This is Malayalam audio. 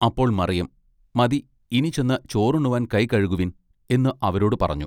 അപ്പോൾ മറിയം മതി ഇനി ചെന്ന് ചോറുണ്ണുവാൻ കൈകഴുകുവിൻ" എന്ന് അവരോടു പറഞ്ഞു.